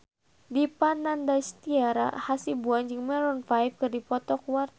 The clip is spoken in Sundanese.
Dipa Nandastyra Hasibuan jeung Maroon 5 keur dipoto ku wartawan